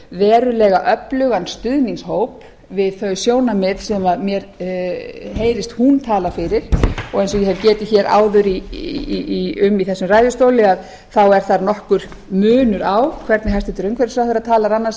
verulega öflugan stuðningshóp við þau sjónarmið sem mér heyrist hún tala fyrir og eins og ég hef getið hér áður um í þessum ræðustóli þá er þar nokkur munur á hvernig hæstvirtur umhverfisráðherra talar annars